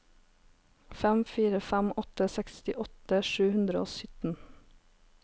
fem fire fem åtte sekstiåtte sju hundre og sytten